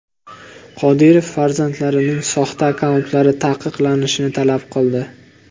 Qodirov farzandlarining soxta akkauntlari taqiqlanishini talab qildi.